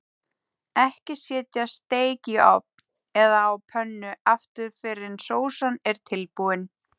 Ekki setja steik í ofn eða á pönnu aftur fyrr en sósan er tilbúin.